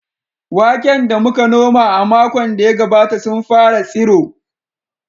Waken da muka noma a makon da ya gabata sun fara tsiro.